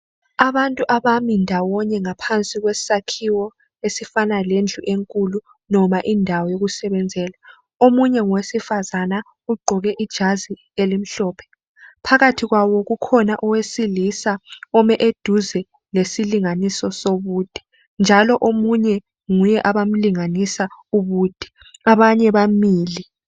Abantu abami ndawonye ngaphansi kwesakhiwo esifana lendlu enkulu noma indawo yokusebenzela. Omunye ngowesifazana ugqoke ijazi elimhlophe. Phakathi kwabo kukhona owesilisa ome eduze lesilinganiso sobude njalo omunye nguye abamlinganisa ubude abanye bamile.